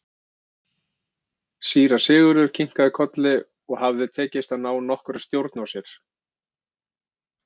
Síra Sigurður kinkaði kolli og hafði tekist að ná nokkurri stjórn á sér.